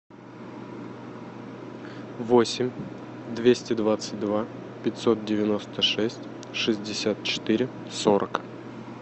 восемь двести двадцать два пятьсот девяносто шесть шестьдесят четыре сорок